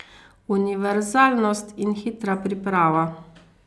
Univerzalnost in hitra priprava.